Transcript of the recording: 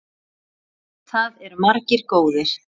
Það eru margir góðir.